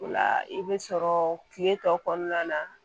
O la i bɛ sɔrɔ kile tɔ kɔnɔna na